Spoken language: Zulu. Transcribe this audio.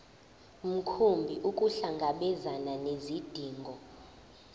mkhumbi ukuhlangabezana nezidingo